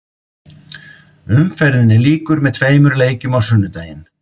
Umferðinni lýkur með tveimur leikjum á sunnudaginn.